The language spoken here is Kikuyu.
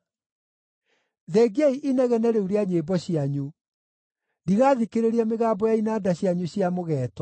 Thengiai inegene rĩu rĩa nyĩmbo cianyu! Ndigathikĩrĩria mĩgambo ya inanda cianyu cia mũgeeto.